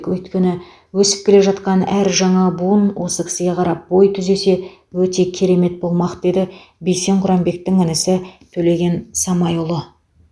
өйткені өсіп келе жатқан әр жаңа буын осы кісіге қарап бой түзесе өте керемет болмақ деді бейсен құранбектің інісі төлеген самайұлы